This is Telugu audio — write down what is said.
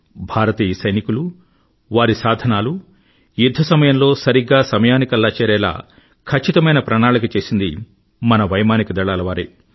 భారతీయ సైనికులు వారి సాధనాలు యుధ్ధ సమయంలో సరిగ్గా సమయానికల్లా చేరేలా ఖచ్చితమైన ప్రణాళిక చేసింది మన వైమానిక దళాలవారే